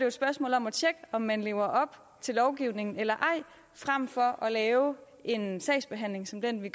et spørgsmål om at tjekke om man lever op til lovgivningen eller ej frem for at skulle lave en sagsbehandling som den vi